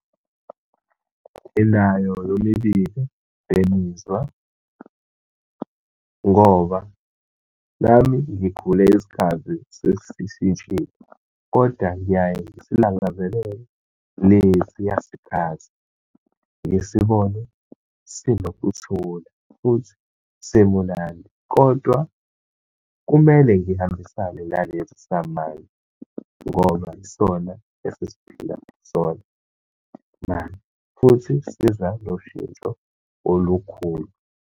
Nginayo yomibili lemizwa, ngoba nami ngikhule isikhathi sesishintshile. Kodwa ngiyaye ngisilangazelele lesiya sikhathi, ngisibone sinokuthula futhi simunandi. Kodwa kumele ngihambisane nalesi samanje, ngoba yisona esesiphila kusona manje, futhi siza noshintsho olukhulu.